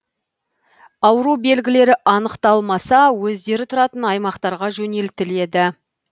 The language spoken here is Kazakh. ауру белгілері анықталмаса өздері тұратын аймақтарға жөнелтіледі